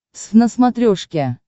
твз на смотрешке